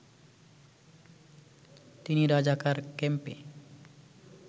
তিনি রাজাকার ক্যাম্পে